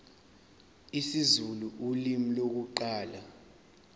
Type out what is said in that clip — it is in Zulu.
isizulu ulimi lokuqala